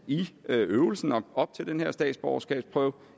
op til den her statsborgerskabsprøve og